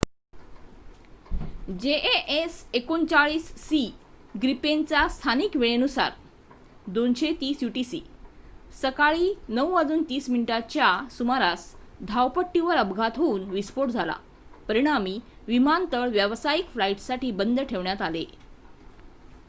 JAS 39सी ग्रिपेनचा स्थानिक वेळेनुसार 0230 यूटीसी सकाळी 9:30 च्या सुमारास धावपट्टीवर अपघात होऊन विस्फोट झाला परिणामी विमानतळ व्यावसायिक फ्लाईट्ससाठी बंद ठेवण्यात आले